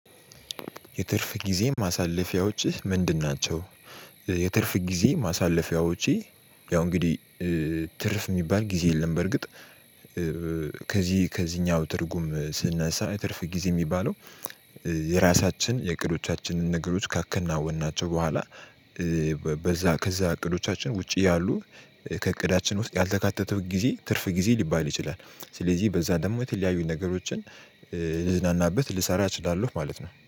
የትርፍ ጊዜ ማሳለፊያዎችህ ምንድን ናቸው? የትርፍ ጊዜ ማሳለፊያዎቼ ያው እንግዲህ ትርፍ የሚባል ጊዜ የለም። በርግጥ ከዚህ ከዚህኛው ትርጉም ስንነሳ ትርፍ ጊዜ የሚባለው የራሳችን የእቅዶቻችንን ነገሮች ካከናወንናቸው በኋላ በዛ ከዛ እቅዶቻችን ውጪ ያሉ ከእቅዳችን ውስጥ ያልተካተተው ጊዜ ትርፍ ጊዜ ሊባል ይችላል። ስለዚህ በዛ ደግሞ የተለያዩ ነገሮችን ልዝናናበት ልሰራ እችላለሁ ማለት ነው።